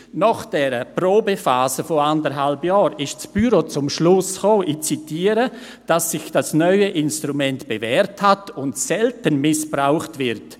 Nach dieser Probephase von anderthalb Jahren kam das Büro zum Schluss – ich zitiere –, «dass sich das neue Instrument bewährt hat und selten missbraucht wird.